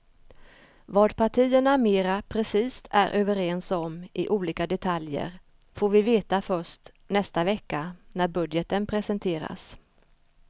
Vad partierna mera precist är överens om i olika detaljer får vi veta först nästa vecka när budgeten presenteras.